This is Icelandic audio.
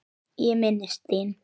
Ég minnist þín.